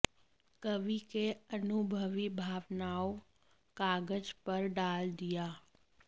कवि के अनुभवी भावनाओं कागज पर डाल दिया